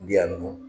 U bi yan nɔ